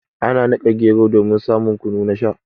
Ana nika gero domin samun kunu na Sha.